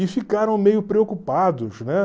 E ficaram meio preocupados, né?